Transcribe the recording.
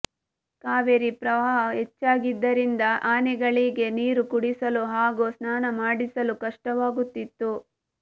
ಕಾವೇರಿ ಪ್ರವಾಹ ಹೆಚ್ಚಾಗಿದ್ದರಿಂದ ಆನೆಗಳಿಗೆ ನೀರು ಕುಡಿಸಲು ಹಾಗೂ ಸ್ನಾನ ಮಾಡಿಸಲು ಕಷ್ಟವಾಗುತ್ತಿತ್ತು